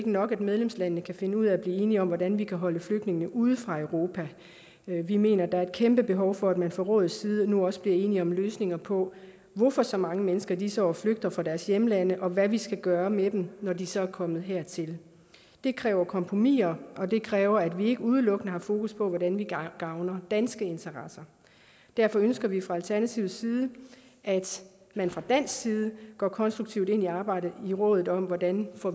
nok at medlemslandene kan finde ud af at blive enige om hvordan vi kan holde flygtninge ude fra europa vi mener at der er et kæmpe behov for at man fra rådets side nu også bliver enige om løsninger på hvorfor så mange mennesker i disse år flygter fra deres hjemlande og hvad vi skal gøre med dem når de så er kommet hertil det kræver kompromiser og det kræver at vi ikke udelukkende har fokus på hvordan vi gavner danske interesser derfor ønsker vi fra alternativets side at man fra dansk side går konstruktivt ind i arbejdet i rådet om hvordan vi får